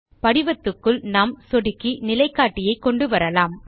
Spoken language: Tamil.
படிவத்துக்குள் நாம் சொடுக்கி நிலைக்காட்டியை கொண்டுவரலாம்